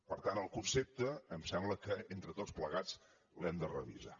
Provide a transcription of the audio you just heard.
per tant el concepte em sembla que entre tots plegats l’hem de revisar